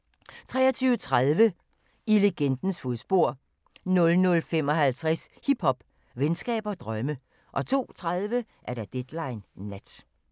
23:30: I legendens fodspor 00:55: Hiphop, venskab og drømme 02:30: Deadline Nat